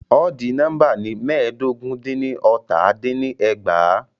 Odi nóḿbà ni mẹ́ẹ̀dógún dín ní ọ́tà dín ní ẹgbàá.